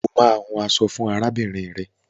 O máa hun aṣọ fún arábìnrin rẹ.